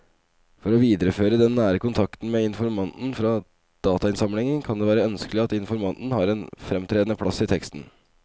For å videreføre den nære kontakten med informanten fra datainnsamlingen kan det være ønskelig at informanten har en fremtredende plass i teksten.